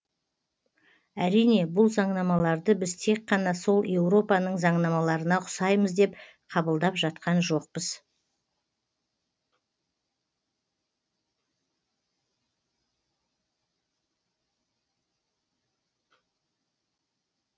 әрине бұл заңнамаларды біз тек қана сол еуропаның заңнамаларына ұқсаймыз деп қабылдап жатқан жоқпыз